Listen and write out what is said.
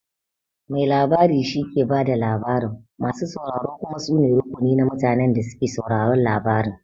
Mai labari shike ba da labarin, masu sauraro kuma su ne rukuni na mutanen da suke sauraron labarin.